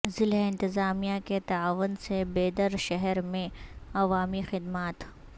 ضلع انتظامیہ کے تعاون سے بیدر شہر میں عوامی خدمات